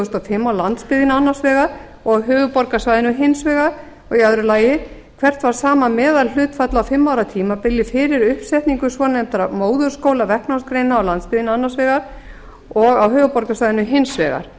þúsund og fimm á landsbyggðinni annars vegar og á höfuðborgarsvæðinu hins vegar annað hvert var sama meðalhlutfall á fimm ára tímabili fyrir uppsetningu svonefndra móðurskóla verknámsgreina á landsbyggðinni annars vegar og á höfuðborgarsvæðinu hins vegar